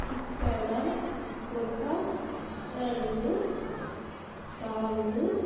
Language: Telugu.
ఇక్కడ ఒక రెండు తాళ్ళు.